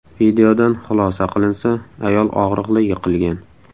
Videodan xulosa qilinsa, ayol og‘riqli yiqilgan.